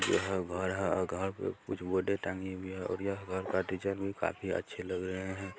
घर है और घर में कुछ बोर्ड टंगी हुई है और यह घर का डिजाइन भी काफी अच्छे लग रहे है।